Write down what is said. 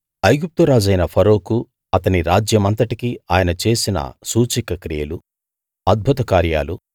ఐగుప్తు రాజైన ఫరోకు అతని రాజ్యమంతటికి ఆయన చేసిన సూచక క్రియలు అద్భుత కార్యాలు